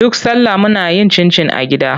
Duk salla muna yin cincin a gida.